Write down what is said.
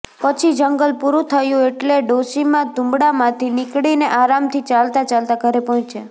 પછી જંગલ પૂરું થયું એટલે ડોશીમા તુંબડામાંથી નીકળીને આરામથી ચાલતાં ચાલતાં ઘરે પહોંચ્યાં